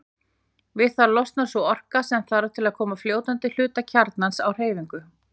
Við það losnar sú orka sem þarf til að koma fljótandi hluta kjarnans á hreyfingu.